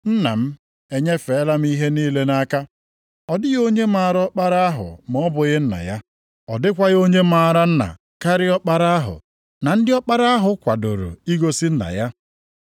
“Nna m enyefeela m ihe niile nʼaka. Ọ dịghị onye maara Ọkpara ahụ ma ọ bụghị Nna ya. Ọ dịkwaghị onye maara Nna karịa Ọkpara ahụ na ndị Ọkpara ahụ kwadoro igosi Nna ya.